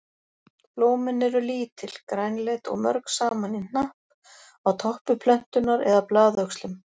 Blómin eru lítil, grænleit og mörg saman í hnapp á toppi plöntunnar eða blaðöxlum.